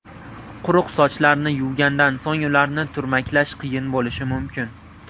Quruq sochlarni yuvgandan so‘ng ularni turmaklash qiyin bo‘lishi mumkin.